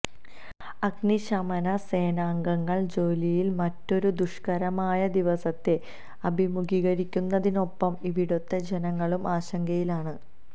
അഗ്നിശമന സേനാംഗങ്ങൾ ജോലിയിൽ മറ്റൊരു ദുഷ്കരമായ ദിവസത്തെ അഭിമുഖീകരിക്കുന്നതിനൊപ്പം ഇവിടുത്തെ ജനങ്ങളും ആശങ്കയിലാണ്